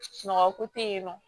Mɔgɔ ko te yen nɔ